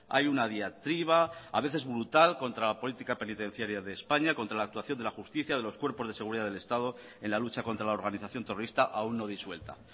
hay una diatriba a veces brutal contra la política penitenciaria de españa contra la actuación de la justicia de los cuerpos de seguridad del estado en la lucha contra la organización terrorista aún no disuelta